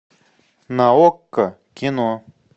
на окко кино